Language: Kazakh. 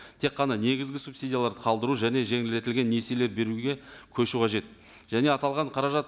тек қана негізгі субсидияларды қалдыру және жеңілдетілген несиелер беруге көшу қажет және аталған қаражат